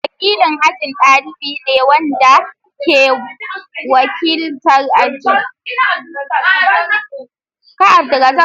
Wakilin aji dalibi ne wanda ke wakiltar ajin.